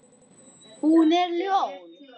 Hún er ljón.